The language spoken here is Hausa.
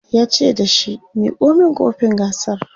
yace da shi"Miko min kofin gasar!"